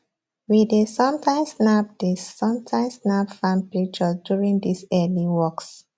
we dey sometimes snap dey sometimes snap farm pictures during these early walks